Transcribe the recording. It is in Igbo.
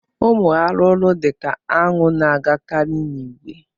Ụmụ arụrụ dị ka aṅụ na-agakarị n'ìgwè